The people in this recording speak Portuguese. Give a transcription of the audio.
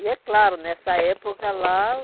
E é claro, nessa época lá